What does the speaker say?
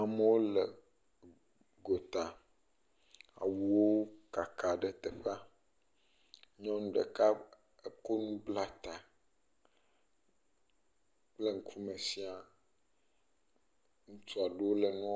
Amewo le go ta, awu wo kaka ɖe teƒa, nyɔnu ɖeka eko nu bla ta kple ŋukume shia, ŋutsua ɖewo le ŋuɔ